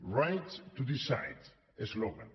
right to decide eslògan